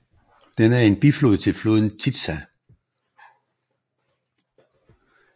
Den er en biflod til floden Tisza